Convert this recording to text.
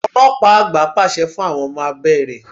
Ọlọ́pàá àgbà pàṣẹ fún àwọn ọmọ abé rẹ.